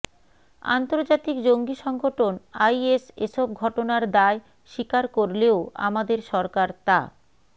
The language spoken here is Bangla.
আন্তর্জাতিক জঙ্গি সংগঠন আইএস এসব ঘটনার দায় স্বীকার করলেও আমাদের সরকার তা